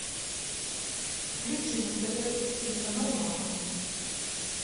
включи на тв телеканал мама